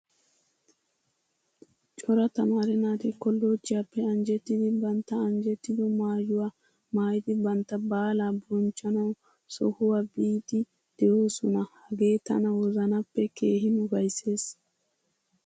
Cora tamaare naati kollojjiyaappe anjjettidi bantta anjjettido maayuwaa maayidi bantta baalaa bonchchanawu sohuwaa biidi de'oosona. Hagee tana wozanappe keehin ufayssees.